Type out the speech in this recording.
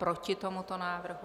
Proti tomuto návrhu?